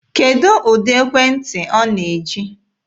Kedụ ụdị ekwentị ọ na-eji?